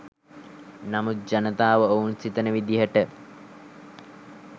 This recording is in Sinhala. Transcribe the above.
නමුත් ජනතාව ඔවුන් සිතන විදිහට